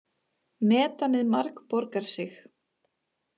Metanið margborgar sig